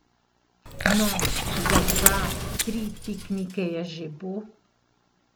No, za dva, tri piknike je že bo.